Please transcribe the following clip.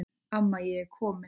Amma ég er komin